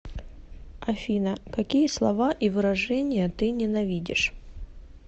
афина какие слова и выражения ты ненавидишь